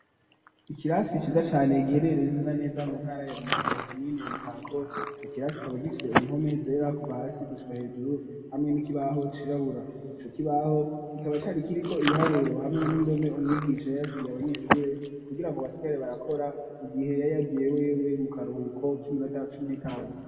Ikirasi ciza cane gihereree ne zena neza mu ntara ya Rumonge komine Mutako ico kirasi kikaba gifise impome zera kuva hasi gushika hejuru hamwe n'ikibaho cirabura ico kibaho kikaba cari kiriko ibiharuro hamwe n'indome umwigisha yari yasigiye abanyeshure ku girango basigare barakora mu gihe yari yagiye wewe mu karuhuko k'iminota cumi n'itanu.